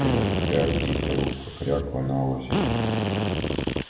кряк-кряк дикая утка кряква на озере